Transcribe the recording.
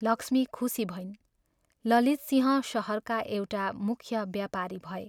लक्ष्मी खुशी भइन्, ललितसिंह शहरका एउटा मुख्य बेपारी भए।